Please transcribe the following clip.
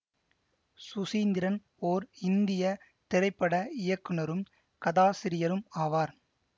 சுசீந்திரன் ஓர் இந்திய திரைப்பட இயக்குனரும் கதாசிரியரும் ஆவார்